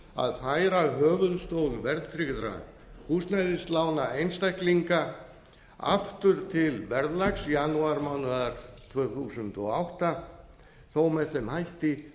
að færa höfuðstól verðtryggðra húsnæðislána einstaklinga aftur til verðlags janúarmánaðar tvö þúsund og átta þó með hætti